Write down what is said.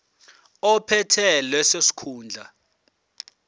ophethe leso sikhundla